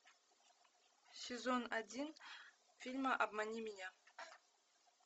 сезон один фильма обмани меня